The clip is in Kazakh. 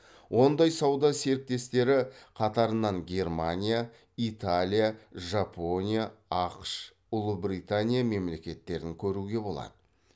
ондай сауда серіктестері қатарынан германия италия жапония ақш ұлыбритания мемлекеттерін көруге болады